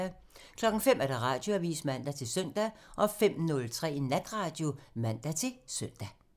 05:00: Radioavisen (man-søn) 05:03: Natradio (man-søn)